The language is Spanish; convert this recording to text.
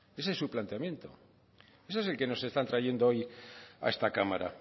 ese es su planteamiento ese es el que nos están trayendo hoy a esta cámara